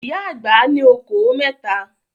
Ìyá àgbà ní okòó mẹ́ta.